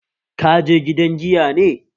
Kaje gidan giya ne?